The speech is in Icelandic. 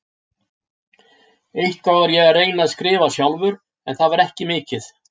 Eitthvað var ég að reyna að skrifa sjálfur, en það var ekki mikið.